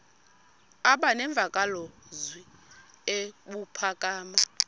aba nemvakalozwi ebuphakama